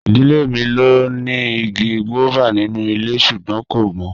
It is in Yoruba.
Idile mi lo ni igi guava ninu ile sugbon ko mo.